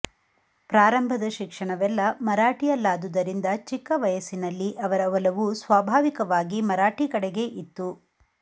ಪ್ರಾರಂಭದ ಶಿಕ್ಷಣವೆಲ್ಲ ಮರಾಠಿಯಲ್ಲಾದುದರಿಂದ ಚಿಕ್ಕ ವಯಸ್ಸಿನಲ್ಲಿ ಅವರ ಒಲವು ಸ್ವಾಭಾವಿಕವಾಗಿ ಮರಾಠಿ ಕಡೆಗೆ ಇತ್ತು